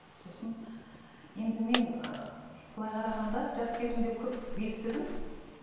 сосын енді мен ыыы былай қарағанда жас кезімде көп естідім